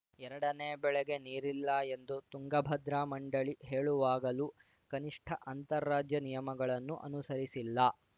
ಎರಡನೇ ಬೆಳೆಗೆ ನೀರಿಲ್ಲ ಎಂದು ತುಂಗಭದ್ರಾ ಮಂಡಳಿ ಹೇಳುವಾಗಲು ಕನಿಷ್ಠ ಅಂತಾರಾಜ್ಯ ನಿಯಮಗಳನ್ನು ಅನುಸರಿಸಿಲ್ಲ